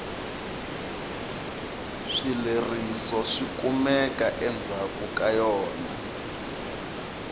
swileriso swikumeka endzhaku ka yona